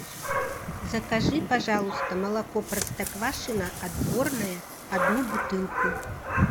закажи пожалуйста молоко простоквашино отборное одну бутылку